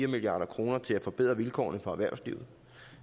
milliard kroner til at forbedre vilkårene for erhvervslivet